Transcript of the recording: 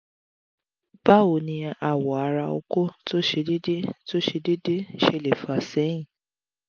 bawoni awo ara oko to se dede to se dede sele fa sehin?